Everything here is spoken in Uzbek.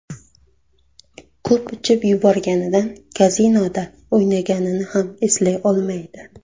Ko‘p ichib yuborganidan kazinoda o‘ynaganini ham eslay olmaydi.